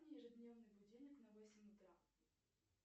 ежедневный будильник на восемь утра